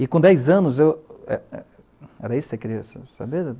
E, com dez anos, eu... Era isso que você queria saber?